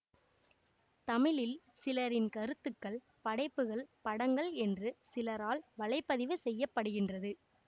தமிழில் சிலரின் கருத்துக்கள் படைப்புகள் படங்கள் என்று சிலரால் வலை பதிவு செய்ய படுகின்றது